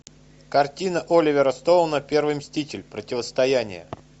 картина оливера стоуна первый мститель противостояние